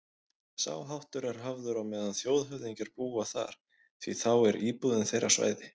Sá háttur er hafður á meðan þjóðhöfðingjar búa þar, því þá er íbúðin þeirra svæði